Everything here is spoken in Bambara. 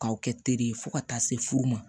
K'aw kɛ teri ye fo ka taa se furu ma